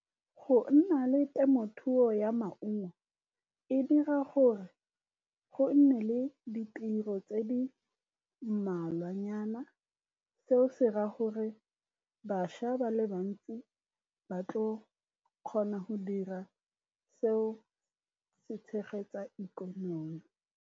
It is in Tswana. Go nna le temothuo ya maungo e dira gore go nne le ditiro tse di mmalwanyana. Seo se raya gore bašwa ba le bantsi ba tla kgona go dira, seo se tshegetsang ikonomi.